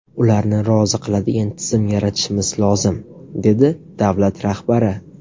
Ularni rozi qiladigan tizim yaratishimiz lozim”, dedi davlat rahbari.